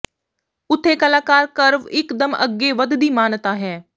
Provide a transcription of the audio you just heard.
ਉੱਥੇ ਕਲਾਕਾਰ ਕਰਵ ਇੱਕਦਮ ਅੱਗੇ ਵਧ ਦੀ ਮਾਨਤਾ ਹੈ